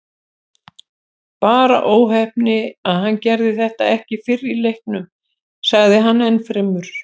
Bara óheppni að hann gerði þetta ekki fyrr í leiknum, sagði hann ennfremur.